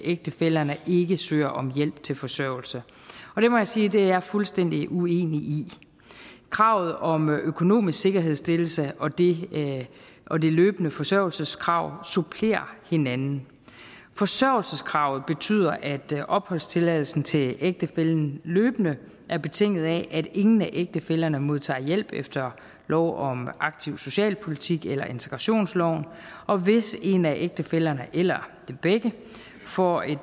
ægtefællerne ikke søger om hjælp til forsørgelse det må jeg sige at er fuldstændig uenig i kravet om en økonomisk sikkerhedsstillelse og det det løbende forsørgelseskrav supplerer hinanden forsørgelseskravet betyder at opholdstilladelsen til ægtefællen løbende er betinget af at ingen af ægtefællerne modtager hjælp efter lov om aktiv socialpolitik eller integrationsloven og hvis en af ægtefællerne eller dem begge får en